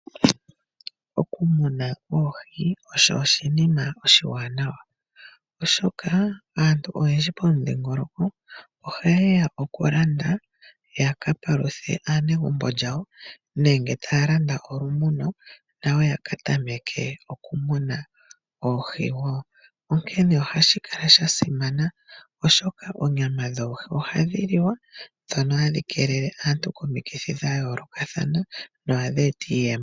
Okumuna oohi osho oshinima oshiwanawa oshoka aantu oyendji pomudhingoloko ohaye ya okulanda ya ka paluthe aanegumbo yawo, nenge taya landa olumuno nayo ya ka tameke oohi wo. Onkene ohashi kala sha simana oshoka oonyama dhoohi ohadhi liwa dho ohadhi kelele aantu komikithi dha yoolokathana nohadhi eta iiyemo.